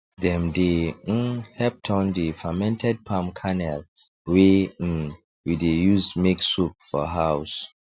dem dey um help turn the fermented palm kernel wey um we dey use make soap for house